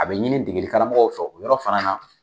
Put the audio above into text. A bɛ ɲini degilikaramɔgɔ fɛ o yɔrɔ fana na.